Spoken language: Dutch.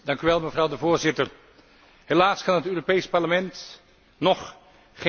Helaas kan het Europees Parlement nog geen kwijting verlenen aan de Raad.